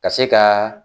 Ka se ka